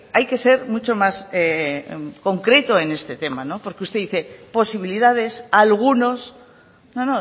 hay que ser mucho más concreto en este tema porque usted dice posibilidades algunos no